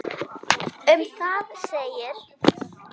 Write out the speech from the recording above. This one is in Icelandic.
Um það segir: